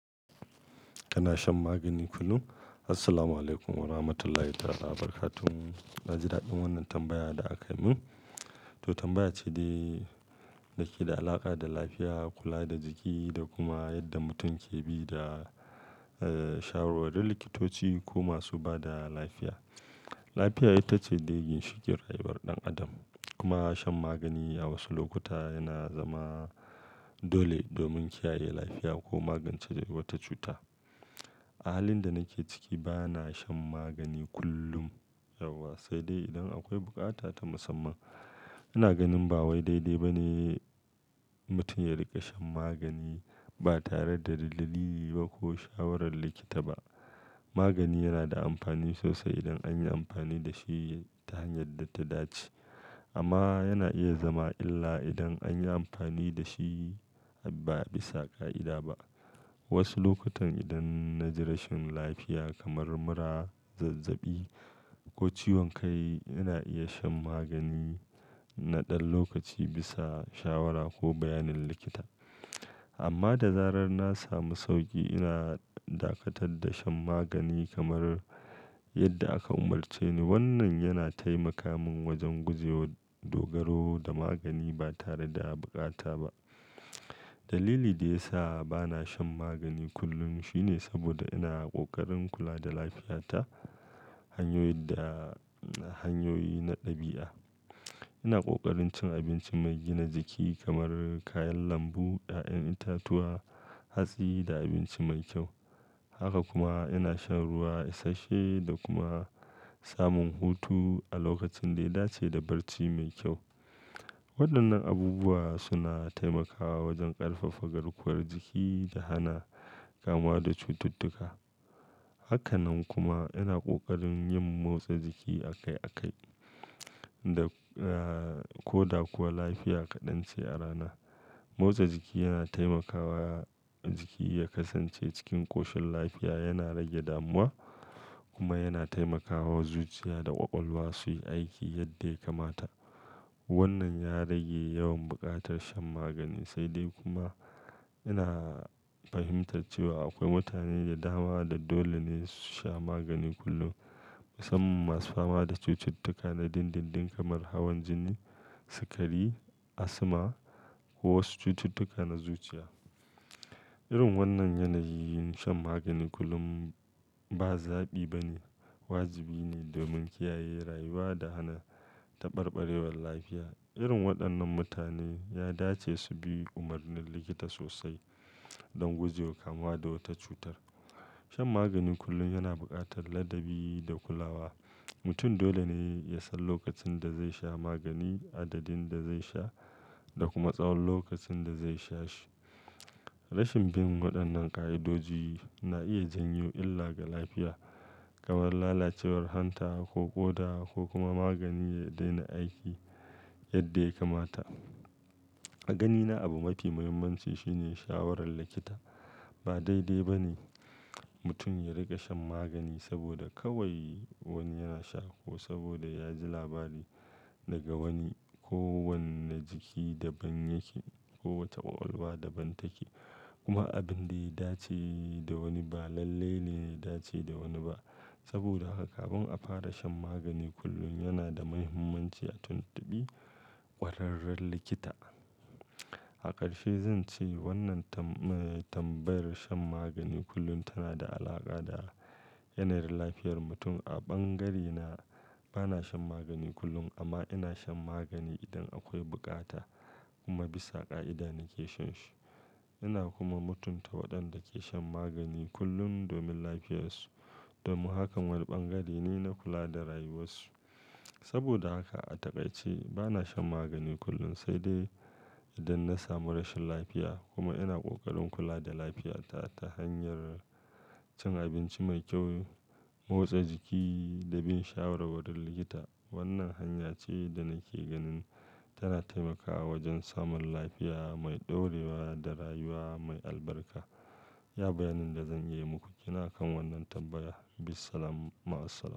Kana shan magani kullum? Assalamualaikum warahmatullahi ta'ala wabarakatuh. Na ji daɗin wannan tambayar da aka yi min. To tambayar ce day, dake da alaƙa da lafiya, kula da jiki da kuma yadda mutum ke bi da, eh, shawarwarin likitoci ko masu ba da lafiya. Lafiya ita ce digin shigar rayuwar ɗan adam. Kuma shan magani a wasu lokuta yana zama dole domin kiyaye lafiya ko magance wata cuta. A halin da nake ciki, ba na shan magani kullum yauwa, sai dai idan akwai bukata ta musamman. Ina ganin ba wai daidai ba ne mutum ya riƙa shan magani ba tare da dalili ba ko shawarar likita ba. Magani yana da amfani sosai idan an yi amfani da shi ta hanyar da ta dace. Amma yana iya zama illa idan an yi amfani da shi ba bisa ƙa'ida ba. Wasu lokutan idan na ji rashin lafiya kamar mura, zazzaɓi ko ciwon kai, ina iya shan magani na ɗan lokaci bisa shawara ko bayanin likita. Amma da zarar na samu sauƙi, ina dakatar da shan magani kamar yadda aka umarce ni. Wannan yana taimaka min wajen guje wa dogaro da magani ba tare da haɓuƙata ba. Dalili da ya sa ba na shan magani kullum shine saboda ina ƙoƙarin kula da lafiyata hanyoyin da, hanyoyi na ɗabi'a. Ina ƙoƙarin cin abinci mai gina jiki kamar kayan lambu, ƴaƴan itatuwa, hatsi da abinci mai kyau. Haka kuma ina shan ruwa isashe da kuma samun hutu a lokacin da ya dace da barci mai kyau. Waɗannan abubuwa suna taimakawa wajen ƙarfafa garkuwar jiki da hana kama da cututtuka. Hakana kuma ina ƙoƙarin yin motsa jiki a kai a kai da, eh, ko da kuwa lafiya kaɗan ce a rana. Motsa jiki yana taimakawa jiki ya kasance cikin ƙoshin lafiya, yana rage damuwa kuma yana taimakawa zuciya da ƙwaƙwalwa su yi aiki yadda ya kamata. Wannan ya rage yawan buƙatar shan magani. Sai dai kuma ina fahimtar cewa akwai mutane da dama da dole ne su sha magani kullum, musamman masu fama da cututtuka na dindindin kamar hawan jini, sikari, asma ko wasu cututtuka na zuciya. Irin wannan yanayi yin shan magani kullum ba zaɓi ba ne, wajibi ne domin kiyaye rayuwa da hana taɓarɓarewar lafiya. Irin waɗannan mutane ya dace su bi umarnin likita sosai don guje wa kama da wata cutar. Shan magani kullum yana buƙatar ladabi da kulawa. Mutum dole ne ya san lokacin da zai sha magani, adadin da zai sha da kuma tsawon lokacin da zai sha shi. Rashin bin waɗannan ƙa'idoji na iya janyo illa ga lafiya, kamar lalacewar hanta ko ƙoda ko kuma magani ya daina aiki yadda ya kamata. A ganina, abu mafi muhimmanci shine shawarar likita. Ba daidai ba ne mutum ya riƙa shan magani saboda kawai wani yana sha ko saboda ya ji labari daga wani. Ko wannan jiki daban yake, kowace ƙwaƙwalwa daban take, kuma abin da ya dace da wani ba lalle ne ya dace da wani ba. Saboda haka kafin a fara shan magani kullum, yana da muhimmanci a tuntubi ƙwararren likita. A ƙarshe zan ce wannan tambayar shan magani kullum tana da alaƙa da yanayin lafiyar mutum. A bangarena, ba na shan magani kullum, amma ina shan magani idan akwai bukata kuma bisa ƙa'ida nake shan shi. Ina kuma mutunta waɗanda ke shan magani kullum domin lafiyarsu. Domin hakan, wani bangare ne na kula da rayuwarsu. Saboda haka a takaice, ba na shan magani kullum sai dai idan na samu rashin lafiya. Kuma ina ƙoƙarin kula da lafiyata ta hanyar cin abinci mai kyau, motsa jiki da bin shawara wajen likita. Wannan hanya ce da nake ganin tana taimakawa wajen samun lafiya mai ɗorewa da rayuwa mai albarka. Iya bayanin da zan yi muku. Ina kan wannan tambaya. Bismillah ma'assalam.